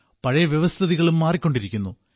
പഴയ വ്യവസ്ഥിതികളും മാറിക്കൊണ്ടിരിക്കുന്നു